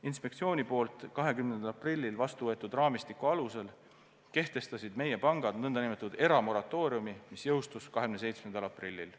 Inspektsiooni poolt 20. aprillil vastu võetud raamistiku alusel kehtestasid meie pangad nn eramoratooriumi, mis jõustus 27. aprillil.